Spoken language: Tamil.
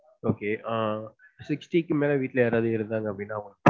okay ஆஹ் sixty க்கு மேல வீட்ல யாராவது இருந்தாங்கனா அப்டினா